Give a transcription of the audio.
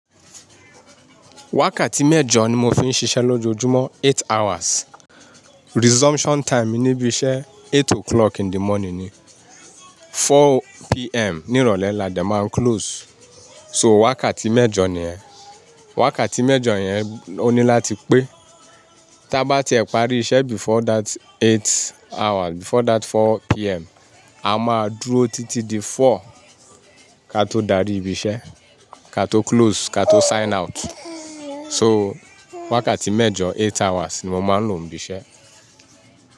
Wákàtí mẹ́jọ ni mo fi ń ṣiṣẹ́ lójoojúmọ́, eight hours. Resumption time mi níbi iṣẹ́ eight o'clock in the morning ni, four PM ní ìrọ̀lẹ́ làdé máa ń close. So wákàtí mẹ́jọ ni yẹn. Wákàtí mẹ́jọ yẹn òní láti pé. Ta bá ti ẹ̀ parí iṣẹ́ before that eight hours, before that four PM, a máa dúró títí di four ká tó darí ibi iṣẹ́, ká tó close, ká tó sign out. So wákàtí mẹ́jọ, eight hours ni mo máa ń lò níbi iṣẹ́.